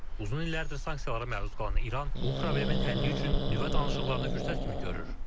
Uzun illərdir sanksiyalara məruz qalan İran bu problemin həlli üçün nüvə danışıqlarını fürsət kimi görür.